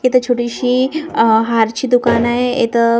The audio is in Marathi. इथं छोटीशी अह हारची दुकान आहे इथं--